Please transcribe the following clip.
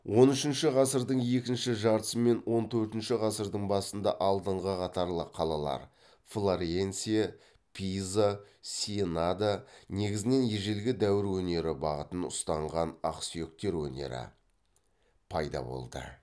он үшінші ғасырдың екінші жартысы мен он төртінші ғасырдың басында алдыңғы қатарлы қалалар флоренция пиза сиенада негізінен ежелгі дәуір өнері бағытын ұстанған ақсүйектер өнері пайда болды